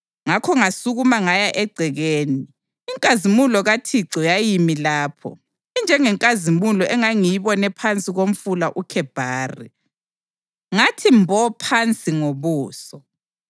Ngakho ngasukuma ngaya egcekeni. Inkazimulo kaThixo yayimi lapho, injengenkazimulo engangiyibone phansi koMfula uKhebhari, ngathi mbo phansi ngobuso.